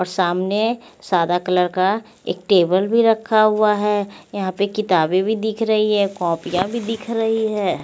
और सामने सादा कलर का एक टेबल भी रखा हुआ है यहाँ पे किताबें भी दिख रही हैं कापियां भी दिख रही हैं।